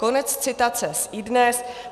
Konec citace z iDnes.cz.